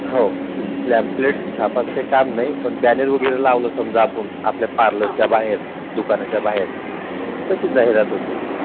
हो Pamphlet छपायच काही काम नाही पण Banner वगैरे लावलं पण समजा आपण आपल्या Parlour च्या बाहेर, दुकानाच्या बाहेर तर त्याची जाहिरात होते.